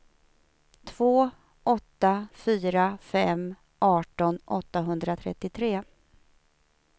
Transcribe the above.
två åtta fyra fem arton åttahundratrettiotre